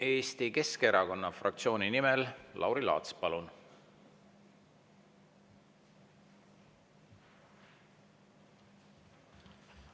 Eesti Keskerakonna fraktsiooni nimel Lauri Laats, palun!